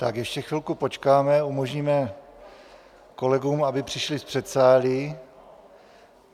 Tak ještě chvilku počkáme, umožníme kolegům, aby přišli z předsálí.